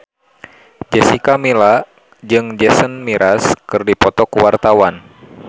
Jessica Milla jeung Jason Mraz keur dipoto ku wartawan